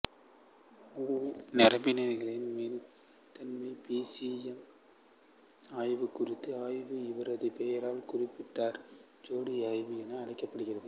நரம்பிணைப்புகளின் மீள்தன்மை P C M ஆய்வு குறித்த ஆய்வு இவரது பெயரால் கூப்பர் ஜோடி ஆய்வு என அழைக்கப்படுகிறது